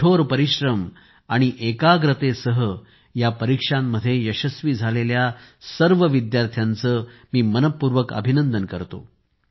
कठोर परिश्रम आणि एकाग्रतेसह या परीक्षांमध्ये यशस्वी झालेल्या सर्व विद्यार्थ्यांचे मी अभिनंदन करतो